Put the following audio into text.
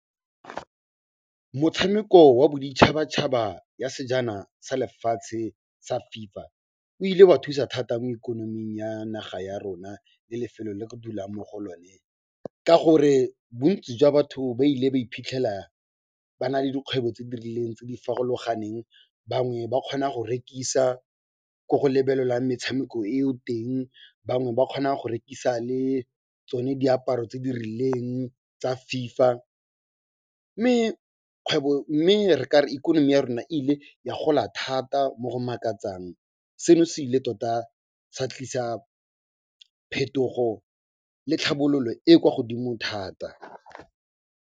Motshameko wa boditšhabatšhaba ya sejana sa lefatshe sa FIFA, o ile wa thusa thata mo ikonoming ya naga ya rona le lefelo le re dulang mo go lone ka gore bontsi jwa batho ba ile ba iphitlhela ba na le dikgwebo tse di rileng tse di farologaneng. Bangwe ba kgona go rekisa ko go lebelelwang metshameko eo teng, bangwe ba kgona go rekisa le tsone diaparo tse di rileng tsa FIFA mme re kare ikonomi ya rona e ile ya gola thata mo go makatsang. Seno se ile tota sa tlisa phetogo le tlhabololo e kwa godimo thata.